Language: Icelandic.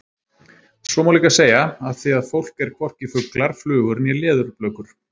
Svo má líka segja: Af því að fólk er hvorki fuglar, flugur né leðurblökur.